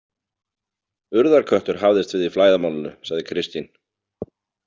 Urðarköttur hafðist við í flæðarmálinu, sagði Kristín.